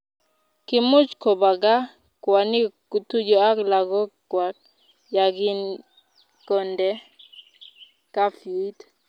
kimuch kubwa gaa kwanik kutuyo ak lagok kwach ya kokinde kafyuit